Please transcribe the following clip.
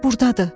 Burdadır.